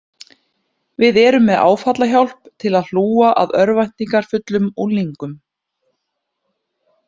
Við erum með áfallahjálp til að hlúa að örvæntingarfullum unglingum